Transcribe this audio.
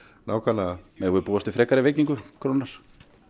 nákvæmlega megum við búast við frekari veikingu krónunnar